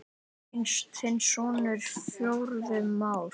Þinn sonur, Friðjón Már.